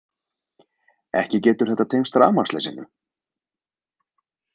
Ekki getur þetta tengst rafmagnsleysinu.